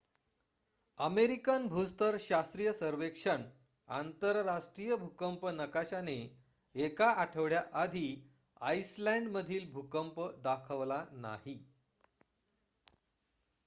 American भूस्तर शास्त्रीय सर्वेक्षण आंतरराष्ट्रीय भूकंप नकाशाने एका आठवड्या आधी आईसलंड मध्ये भूकंप दाखवला नाही